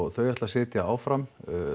þau ætla að sitja áfram